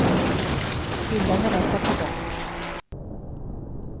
Hyllan är lätt att ta bort.